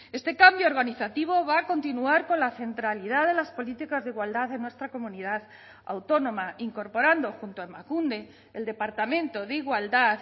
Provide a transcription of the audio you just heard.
este cambio organizativo va a continuar con la centralidad de las políticas de igualdad de nuestra comunidad autónoma incorporando junto a emakunde el departamento de igualdad